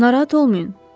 Narahat olmayın.